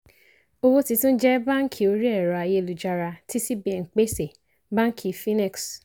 owó titun jẹ báàǹkì orí ẹ̀rọ ayélujára ti cbn pèsè báàǹkì finex.